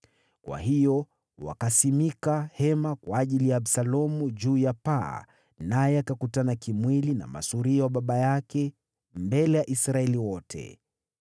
Kwa hiyo wakasimika hema kwa ajili ya Absalomu juu ya paa, naye akakutana kimwili na masuria wa baba yake mbele ya Israeli wote.